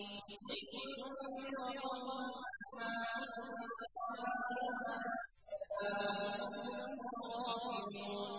لِتُنذِرَ قَوْمًا مَّا أُنذِرَ آبَاؤُهُمْ فَهُمْ غَافِلُونَ